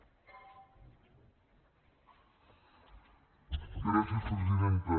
gràcies presidenta